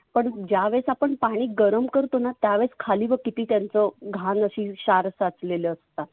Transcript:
पण ज्यावेळेस आपण पाणि गरम करतोना त्यावेळेस खाली बघ किती त्यांच घान अशी क्षार साचलेलं असतात.